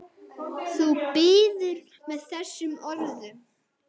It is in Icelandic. Þú biður með þessum orðum.